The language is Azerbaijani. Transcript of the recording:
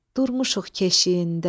durmuşuq keşiyində.